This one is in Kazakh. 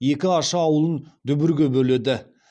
екі аша ауылын дүбірге бөледі